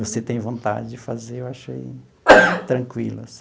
Você tem vontade de fazer, eu achei tranquilo assim.